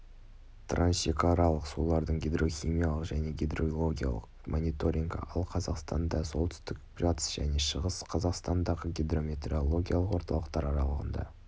трансшекаралық сулардың гидрохимиялық және гидрологиялық мониторингі ал қазақстанда солтүстік батыс және шығыс қазақстандағы гидрометеорологиялық орталықтар аралығында